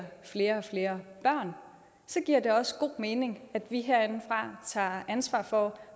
flere flere børn så giver det også god mening at vi herindefra tager ansvar for